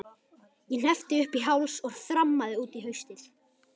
Ég hneppti upp í háls og þrammaði út í haustið.